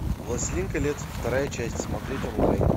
властелин колец вторая часть смотреть онлайн